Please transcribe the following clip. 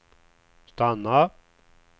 stanna